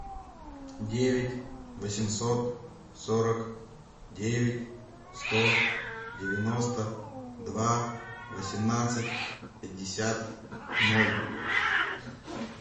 девять восемьсот сорок девять сто девяносто два восемнадцать пятьдесят ноль